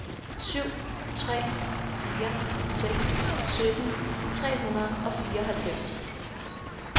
syv tre fire seks sytten tre hundrede og fireoghalvfems